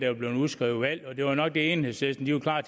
var blevet udskrevet valg og det var nok det enhedslisten var klar